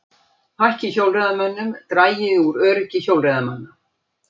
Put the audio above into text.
Fækki hjólreiðamönnum dragi úr öryggi hjólreiðamanna